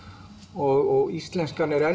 og íslenskan er enn